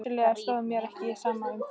Vissulega stóð mér ekki á sama um þig.